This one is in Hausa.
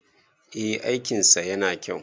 eh aikinsa yana kyau